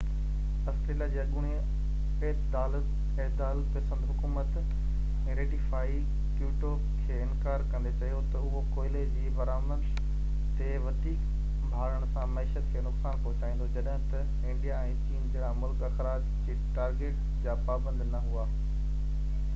Australia جي اڳوڻي اعتدال پسند حڪومت ريٽيفائي ڪيوٽو کي انڪار ڪندي چيو ته اهو ڪوئلي جي برآمد تي وڌيڪ ڀاڙڻ سان معيشت کي نقصان پهچائيندو جڏهن ته انڊيا ۽ چين جهڙا ملڪ اخراج جي ٽارگيٽ جا پابند نه هئا